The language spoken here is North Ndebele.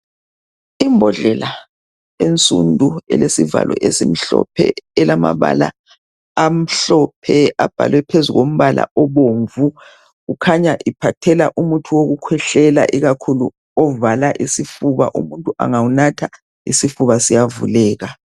Imbodlela ensundu elesivalo esimhlophe elamabala amhlophe abhalwe phezu kombala obomvu kukhanya iphathela umuthi wokukhwehlela ikakhulu ovala isifuba umuntu angawunatha isifuba siyavuleka.